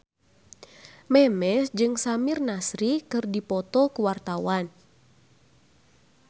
Memes jeung Samir Nasri keur dipoto ku wartawan